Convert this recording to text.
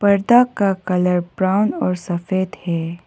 पर्दा का colour brown और सफेद है।